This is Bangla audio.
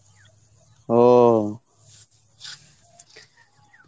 ও